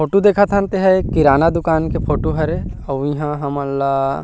photo देखत हन तेहा किराना दुकान के फोटो हरे ए हा हमन ला --